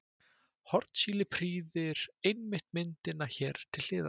Hornsíli prýðir einmitt myndina hér til hliðar.